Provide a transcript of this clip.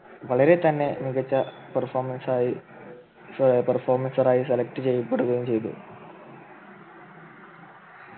വളരെ തന്നെ മികച്ച Perfomance ആയി Performer ആയി Select ചെയ്യപ്പെടുകയും ചെയ്തു